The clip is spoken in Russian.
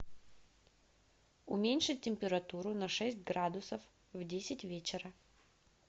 уменьшить температуру на шесть градусов в десять вечера